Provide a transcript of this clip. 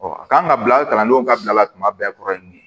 a kan ka bila kalandenw ka bila la tuma bɛɛ kɔrɔ ye nin ye